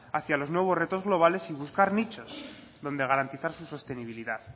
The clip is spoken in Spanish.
hacia los nuevos retos globales y buscar nichos donde garantizar sus sostenibilidad